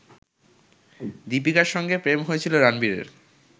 দিপিকার সঙ্গে প্রেম হয়েছিল রানবিরের